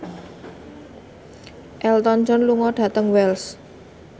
Elton John lunga dhateng Wells